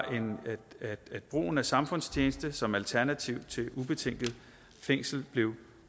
at brugen af samfundstjeneste som alternativ til ubetinget fængsel blev